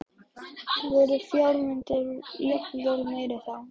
Heimir: Voru fjármunirnir jafnvel meiri þá?